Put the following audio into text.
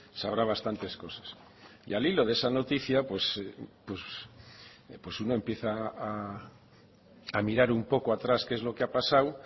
sabrá bastantes cosas y al hilo de esa noticia pues pues uno empieza a mirar un poco atrás qué es lo que ha pasado